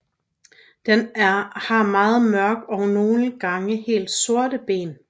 Den har meget mørke og nogle gange helt sorte ben